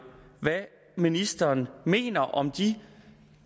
hvad ministeren mener om de